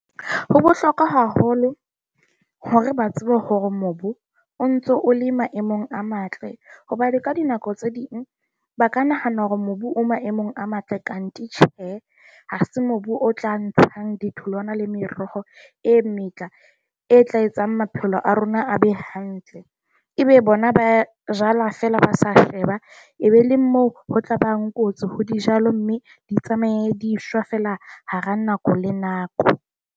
Ho bohlokwa haholo hore ba tsebe hore mobu o ntso o le maemong a matle, hobane ka dinako tse ding ba ka nahana hore mobu o maemong a matle can't tjhe, ha se mobu o tla ntshang ditholwana le meroho e metjha e tla etsang maphelo a rona a be hantle, ebe bona ba jala fela ba sa sheba. E be le moo ho tlaba kotsi ho dijalo, mme di tsamaye di shwa fela hara nako le nako.